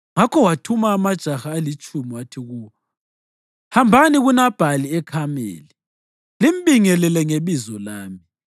Ngakho wathuma amajaha alitshumi wathi kuwo, “Hambani kuNabhali eKhameli limbingelele ngebizo lami.